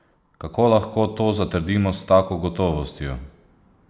Kako lahko to zatrdimo s tako gotovostjo?